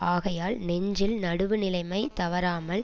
ஆகையால் நெஞ்சில் நடுவுநிலைமை தவறாமல்